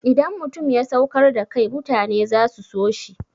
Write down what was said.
Idan mutum ya saukar da kai mutane za su so shi.